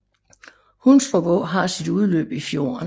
Hundstrup Å har sit udløb i fjorden